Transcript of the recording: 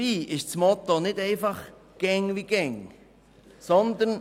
Dabei lautet das Motto nicht einfach «immer weiter so».